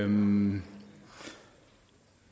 om